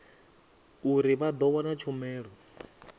uri vha ḓo wana tshumelo